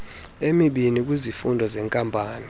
emibini kwizifundo zeenkampani